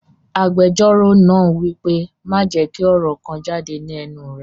Agbẹjọ́rò náà wípé, "Má jẹ́ kí ọ̀rọ̀ kan jáde ní ẹnu rẹ!"